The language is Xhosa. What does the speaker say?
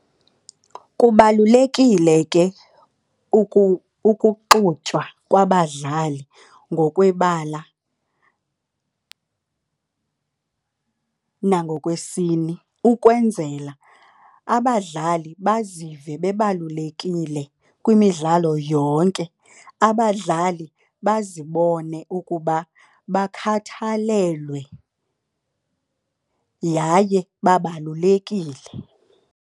Kubalulekile ke ukuxutywa kwabadlali ngokwebala nangokwesini ukwenzela abadlali bazive bebalulekile kwimidlalo yonke. Abadlali bazibone ukuba bakhathalelwe, yaye babalulekile.